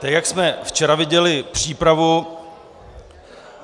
Tak jak jsme včera viděli přípravu...